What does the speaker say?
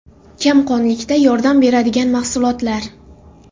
Kamqonlikda yordam beradigan mahsulotlar.